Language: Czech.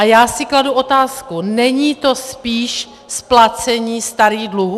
A já si kladu otázku - není to spíš splacení starých dluhů?